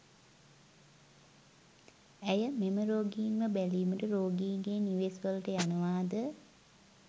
ඇය මෙම රෝගීන්ව බැලීමට රෝගීන්ගේ නිවෙස් වලට යනවාද?